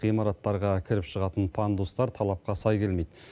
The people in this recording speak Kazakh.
ғимараттарға кіріп шығатын пандустар талапқа сай келмейді